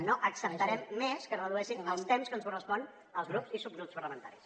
no acceptarem més que es redueixin els temps que ens corresponen als grups i subgrups parlamentaris